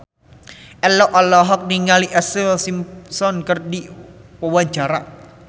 Ello olohok ningali Ashlee Simpson keur diwawancara